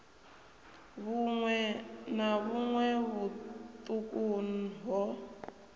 vhuṋwe na vhuṋwe vhuṱuku ho